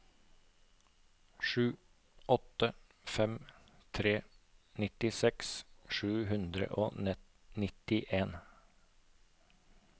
sju åtte fem tre nittiseks sju hundre og nittien